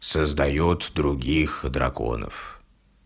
создаёт других драконов